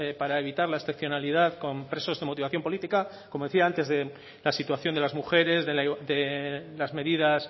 para evitar la excepcionalidad con presos de motivación política como decía antes de la situación de las mujeres de las medidas